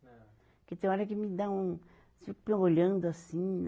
Não. Porque tem hora que me dá um, fico me olhando assim